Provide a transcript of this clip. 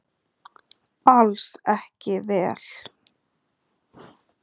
Alls ekki vel.